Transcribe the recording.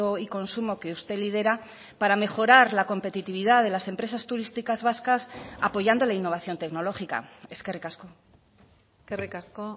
y consumo que usted lidera para mejorar la competitividad de las empresas turísticas vascas apoyando la innovación tecnológica eskerrik asko eskerrik asko